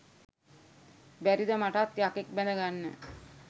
බැරිද මටත් යකෙක් බැඳගන්න